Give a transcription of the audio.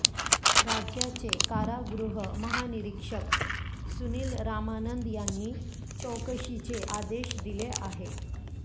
राज्याचे कारागृह महानिरिक्षक सुनील रामानंद यांनी चौकशीचे आदेश दिले आहे